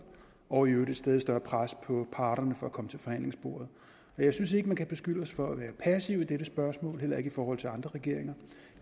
og i øvrigt et stadig større pres på parterne for at komme til forhandlingsbordet og jeg synes ikke man kan beskylde os for at være passive i dette spørgsmål heller ikke i forhold til andre regeringer